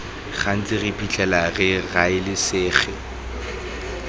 gantsi re iphitlhela re raelesega